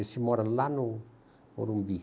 Esse mora lá no Morumbi.